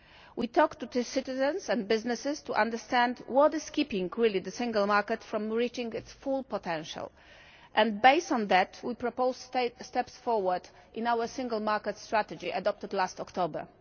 We talked to citizens and businesses to understand what is really keeping the single market from reaching its full potential and, based on that, we proposed steps forward in our Single Market Strategy adopted last October.